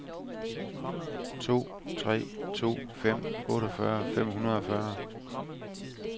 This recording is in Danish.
to tre to fem otteogfyrre fem hundrede og fyrre